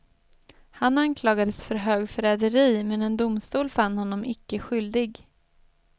Han anklagades för högförräderi men en domstol fann honom icke skyldig.